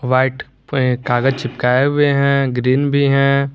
White पे कागज चिपकाए हुए हैं ग्रीन भी हैं।